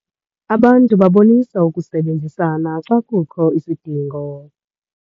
Abantu babonisa ukusebenzisana xa kukho isidingo.